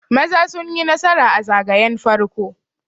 Maza sun yi nasara a zagaye farko